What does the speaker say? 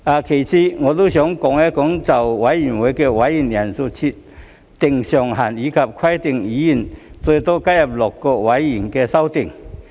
其次，我想說說就委員會的委員人數設定上限，以及規定議員最多可加入6個委員會的修訂。